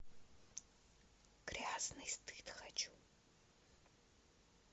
грязный стыд хочу